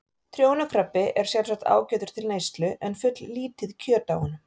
Trjónukrabbi er sjálfsagt ágætur til neyslu en fulllítið kjöt á honum.